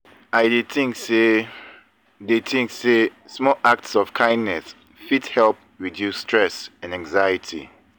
i dey think say dey think say small acts of kindness fit help reduce stress and anxiety.